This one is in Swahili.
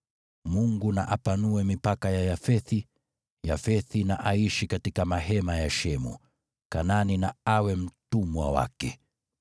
Mungu na apanue mipaka ya Yafethi; Yafethi na aishi katika mahema ya Shemu, na Kanaani na awe mtumwa wake.”